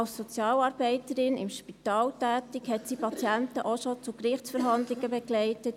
Als Sozialarbeiterin im Spital tätig, hat sie Patienten auch schon zu Gerichtsverhandlungen begleitet.